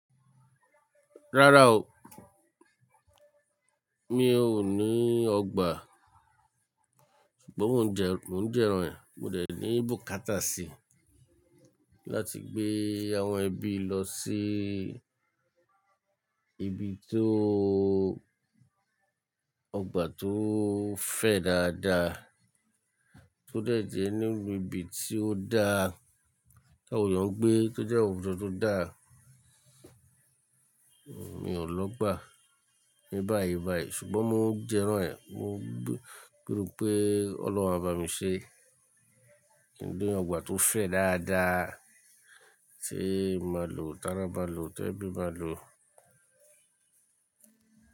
Rárá o, mi ò ní ọgbà, ṣùgbọ́n mo ń jẹ́, mo ń jẹ́ràn ẹ, mo dẹ̀ ní bùkátà síi láti gbé àwọn ẹbí lọ sí ibi tó, ọgbà tó fẹ̀ dáadáa, tó dẹ̀ jẹ́ nílu ibi tí ó dáa, ti awọn eeyàn ngbé, tójẹ̀ àwùjọ tó dáa. Mi ò lọ́ gbà, mi báyìí báyìí ṣùgbọ́n mo ń jẹ́ràn ẹ, mo ń pínù pé Ọlọ́run á bá mi ṣe, kin ni ọgbà tó fẹ̀ dáadáa tí màá lò, tára maá lò, ti ẹbí maá lò.